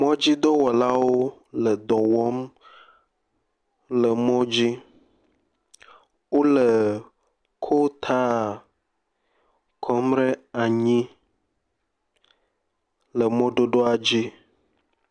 Mɔdzidɔwɔlawo le dɔ wɔm le mɔ dzi. Wole kotaa kɔm ɖe anyi le mɔdodoa dzi.